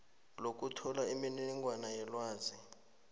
lokuthola imininingwana yelwazi